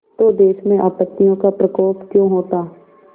तो देश में आपत्तियों का प्रकोप क्यों होता